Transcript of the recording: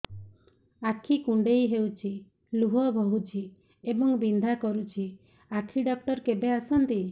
ଆଖି କୁଣ୍ଡେଇ ହେଉଛି ଲୁହ ବହୁଛି ଏବଂ ବିନ୍ଧା କରୁଛି ଆଖି ଡକ୍ଟର କେବେ ଆସନ୍ତି